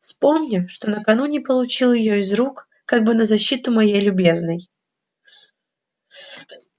вспомнив что накануне получил её из её рук как бы на защиту моей любезной